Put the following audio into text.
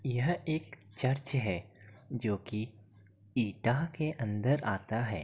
यह एक चर्च है जो कि ईटाह के अंदर आता है।